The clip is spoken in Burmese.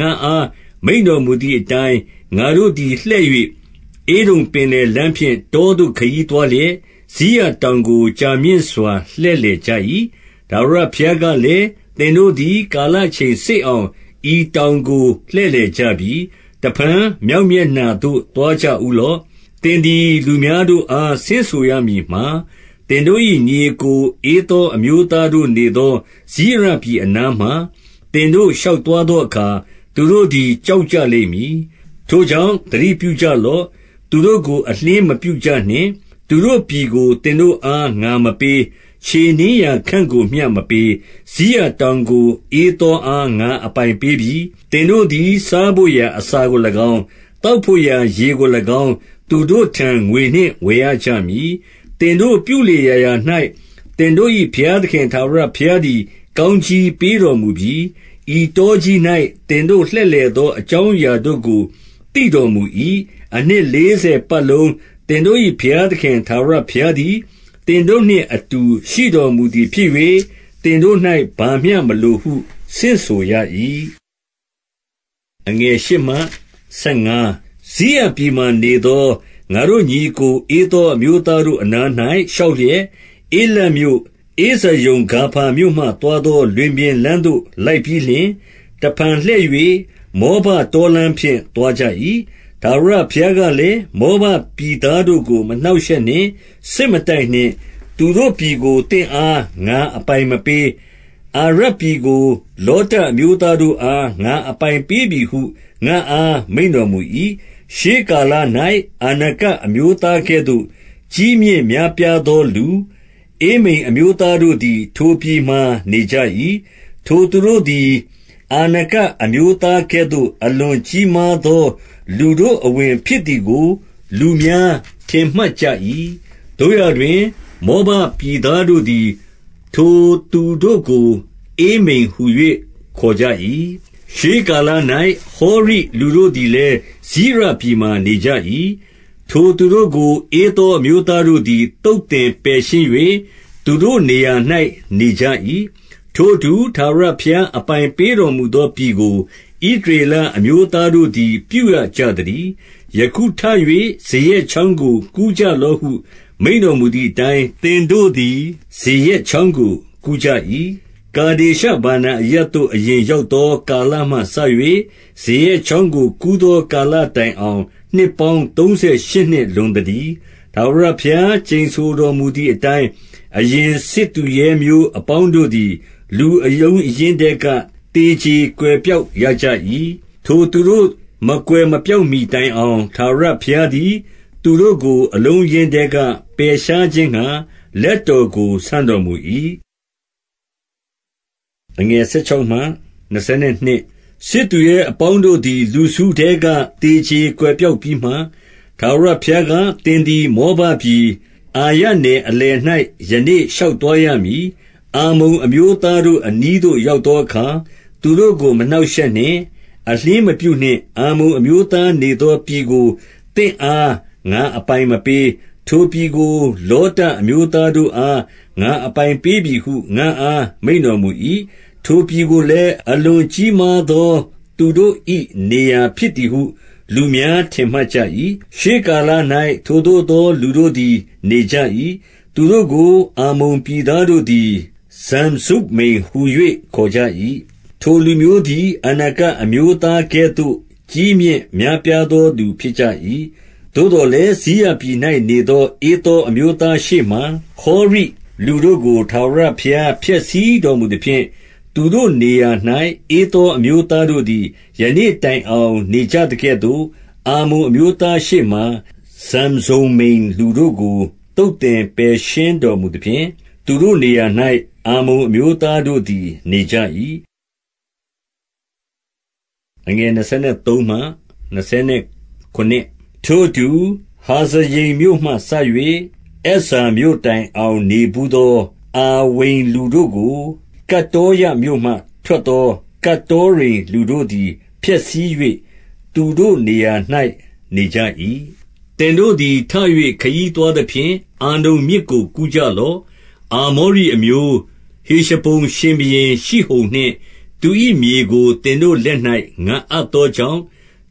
ငါ့အား မိန့်တော်မူ သည်အတိုင်း၊ ငါတို့သည် လှည့်၍၊ ဧဒုံပင်လယ်လမ်းဖြင့် တောသို့ ခရီးသွားလျက်၊ စိရတောင်ကို ကြာမြင့်စွာ လှည့်လည်ကြ၏။ 2 ထာဝရဘုရားကလည်း၊ သင်တို့သည် ကာလ အချိန်စေ့အောင် ဤတောင်ကို လှည့်လည်ကြပြီ။ 3 တဖန် မြောက်မျက်နှာသို့ သွားကြဦးလော့။ 4 သင်သည် လူများတို့အား ဆင့်ဆိုရမည်မှာ၊ သင်တို့၏ညီအစ်ကို ဧသောအမျိုးသားတို့ နေသော စိရပြည်အနားမှာ သင်တို့ရှောက်သွားသောအခါ၊ သူတို့ သည် ကြောက်ကြလိမ့်မည်။ ထို့ကြောင့် သတိပြုကြ လော့။ 5 သူတို့ကို အလျှင်းမပြုကြနှင့်။ သူတို့ပြည်ကို သင်တို့အား ငါမပေး။ ခြေနင်းရာခန့်ကိုမျှ မပေး။ စိရတောင်ကို ဧသောအားငါ အပိုင်ပေးပြီ။ 6 သင်တို့သည် စားဘို့ရာအစာကို၎င်း၊ သောက်ဘို့ ရာရေကို၎င်း သူတို့ထံ ငွေနှင့်ဝယ်ရကြမည်။ 7 သင်တို့ပြုလေရာရာ၌ သင်တို့၏ ဘုရားသခင် ထာဝရဘုရားသည် ကောင်းကြီးပေးတော်မူပြီ။ ဤတော ကြီး၌ သင်တို့လှည့်လည်သော အကြောင်းအရာတို့ကို သိတော်မူ၏။ အနှစ်လေးဆယ်ပတ်လုံး သင်တို့၏ ဘုရားသခင် ထာဝရဘုရားသည် သင်တို့နှင့်အတူ ရှိတော်မူသည်ဖြစ်၍၊ သင်တို့၌ ဘာမျှမလိုဟု ဆင့်ဆို ရ၏။ 8 စိရပြည်မှာနေသော ငါတို့ညီအစ်ကို ဧသော အမျိုးသားတို့အနား၌ ရှောက်လျက် ဧလပ်မြို့၊ ဧဇယုန် ဂါဗါမြို့မှသွားသော လွင်ပြင်လမ်းသို့ လိုက်ပြီးလျှင်၊ တဖန် လှည့်၍ မောဘတောလမ်းဖြင့် သွားကြ၏။ 9 ထာဝရဘုရားကလည်း၊ မောဘပြည်သားတို့ကို မနှောင့်ရှက်နှင့်။ စစ်မတိုက်နှင့်။ သူတို့ပြည်ကို သင့်အား ငါအပိုင်မပေး။ အာရပြည်ကို လောတအမျိုးသားတို့အား ငါအပိုင်ပေးပြီဟု ငါ့အား မိန့်တော်မူ၏။ 10 ရှေးကာလ၌ အာနကအမျိုးသားကဲ့သို့ ကြီးမြင့် များပြားသောလူ၊ ဧမိမ်အမျိုးသားတို့သည် ထိုပြည်မှာ နေကြ၏။ 11 ထိုသူတို့သည် အာနကအမျိုးသားကဲ့သို့ အလွန် ကြီးမားသော လူတို့အဝင်ဖြစ်သည်ကို လူများ ထင်မှတ် ကြ၏။ သို့ရာတွင် မောဘပြည်သားတို့သည် ထိုသူတို့ကို ဧမိမ်ဟူ၍ ခေါ်ကြ၏။ 12 ရှေးကာလ၌ ဟောရိလူတို့သည်လည်း စိရပြည် မှာနေကြ၏။ ထိုသူတို့ကို ဧသောအမျိုးသားတို့သည် သုတ်သင်ပယ်ရှင်း၍ သူတို့နေရာ၌ နေကြ၏။ ထိုအတူ ထာဝရဘုရား အပိုင်ပေးတော်မူသော ပြည်ကို ဣသရေလအမျိုးသားတို့သည် ပြုရကြသတည်း။ 13 ယခုထ၍ ဇေရက်ချောင်းကို ကူးကြလော့ဟု မိန့်တော်မူသည်အတိုင်း၊ သင်တို့သည် ဇေရက်ချောင်းကို ကူးကြ၏။ 14 ကာဒေရှဗာနာအရပ်သို့ အရင်ရောက်သော ကာလမှစ၍ ဇေရက်ချောင်းကို ကူးသောကာလ တိုင်အောင် နှစ်ပေါင်းသုံးဆယ်ရှစ်နှစ် လွန်သတည်း။ ထာဝရဘုရား ကျိန်ဆိုတော်မူသည်အတိုင်း။ အရင်စစ် သူရဲမျိုးအပေါင်းတို့သည် လူအလုံးအရင်းထဲက သေကြေ ကွယ်ပျောက်ရကြ၏။ 15 ထိုသူတို့ မကွယ်မပျောက်မှီတိုင်အောင်၊ ထာဝရ ဘုရားသည် သူတို့ကို အလုံးအရင်းထဲက ပယ်ရှားခြင်းငှါ လက်တော်ကို ဆန့်တော်မူ၏။ 16 စစ်သူရဲအပေါင်းတို့သည် လူစုထဲက သေကြေ ကွယ်ပျောက်ပြီးမှ၊ 17 ထာဝရဘုရားက၊ သင်သည် မောဘပြည်၊ အာရနယ်အလယ်၌ ယနေ့ ရှောက်သွားရမည်။ 18 အမ္မုန်အမျိုးသားတို့ အနီးသို့ရောက်သောအခါ သူတို့ကို မနှောင့်ရှက်နှင့်၊ အလျှင်းမပြုနှင့်။ 19 အမ္မုန်အမျိုး သားနေသောပြည်ကို သင့်အား ငါအပိုင်မပေး၊ ထိုပြည်ကို လောတအမျိုးသားတို့အား ငါအပိုင်ပေးပြီဟု ငါ့အား မိန့်တော်မူ၏။ 20 ထိုပြည်ကိုလည်း၊ အလွန်ကြီးမားသော သူတို့၏ နေရာဖြစ်သည်ဟု လူများထင်မှတ်ကြ၏။ ရှေးကာလ၌ ထိုသို့သောလူတို့သည် နေကြ၏။ သူတို့ကို အမ္မုန်ပြည်သား တို့သည် ဇံဇုမ္မိမ်ဟူ၍ ခေါ်ကြ၏။ 21 ထိုလူမျိုးသည် အာနကအမျိုးသားကဲ့သို့ ကြီးမြင့် များပြားသော လူဖြစ်ကြ၏။ 22 သို့သော်လည်း စိရပြည်၌ နေသော ဧသောအမျိုးသားရှေ့မှာ ဟောရိလူတို့ကို ထာဝရဘုရား ဖျက်ဆီးတော်မူသဖြင့်၊ သူတို့နေရာ၌ ဧသောအမျိုးသားတို့သည် ယနေ့တိုင်အောင် နေကြ သကဲ့သို့၊ အမ္မုန်အမျိုးသားတို့သည် နေကြ၏။ 23 ထိုအတူ၊ ဟာဇရိမ်မြို့မှစ၍ အဇ္ဇာမြို့တိုင် အောင် နေဘူးသော အာဝိမ်လူတို့ကို၊ ကတ္တောရမြို့မှ ထွက်သော ကတ္တောရိမ်လူတို့သည် ဖျက်ဆီး၍ သူတို့ နေရာ၌ နေကြ၏။ 24 သင်တို့သည် ထ၍ ခရီးသွားသဖြင့် အာနုန်မြစ် ကို ကူးကြလော့။ အာမောရိအမျိုး၊ ဟေရှဘုန်ရှင်ဘုရင် ရှိဟုန်နှင့် သူ၏မြေကို သင်တို့လက်၌ ငါအပ်သော ကြောင့်၊